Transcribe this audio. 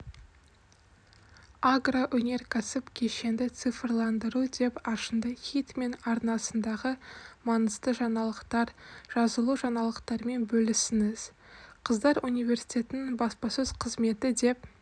агроөнеркәсіптік кешенді цифрландыру деп ашынды хитмен арнасындағы маңызды жаңалықтар жазылужаңалықтармен бөлісіңіз қыздар университетінің баспасөз қызметі деп